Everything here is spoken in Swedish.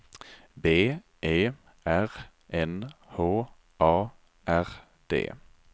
B E R N H A R D